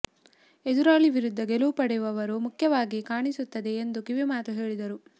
ಎದುರಾಳಿ ವಿರುದ್ಧ ಗೆಲುವು ಪಡೆಯುವವರು ಮುಖ್ಯವಾಗಿ ಕಾಣಿಸುತ್ತದೆ ಎಂದು ಕಿವಿಮಾತು ಹೇಳಿದರು